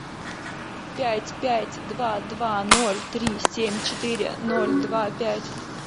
пять пять два два ноль три семь четыре ноль два пять